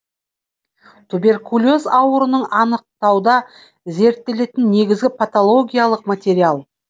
туберкулез ауруын аныктауда зерттелетін негізгі патологиялық материал